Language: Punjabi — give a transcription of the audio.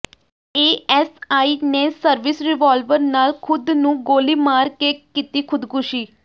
ਏਐੱਸਆਈ ਨੇ ਸਰਵਿਸ ਰਿਵਾਲਵਰ ਨਾਲ ਖੁਦ ਨੂੰ ਗੋਲੀ ਮਾਰ ਕੇ ਕੀਤੀ ਖੁਦਕੁਸ਼ੀ